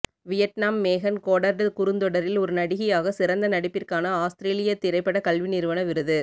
Vietnam Megan Goddard குறுந்தொடரில் ஒரு நடிகையாக சிறந்த நடிப்பிற்கான ஆஸ்திரேலிய திரைப்பட கல்வி நிறுவன விருது